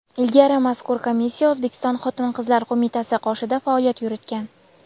Ilgari mazkur komissiya O‘zbekiston Xotin-qizlar qo‘mitasi qoshida faoliyat yuritgan.